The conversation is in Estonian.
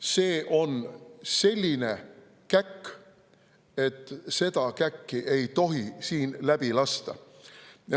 See on selline käkk, et seda käkki ei tohi siin läbi lasta.